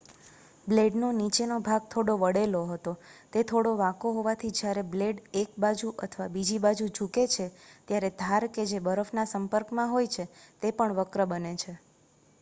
બ્લેડનો નીચેનો ભાગ થોડો વળેલો હતો તે થોડો વાંકો હોવાથી જયારે બ્લેડ એક બાજુ અથવા બીજી બાજુ ઝૂકે છે ત્યારે ધાર કે જે બરફના સંપર્કમાં હોય છે તે પણ વક્ર બને છે